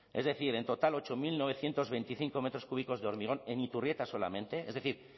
es decir en total ocho mil novecientos veinticinco metros cúbicos de hormigón en iturrieta solamente es decir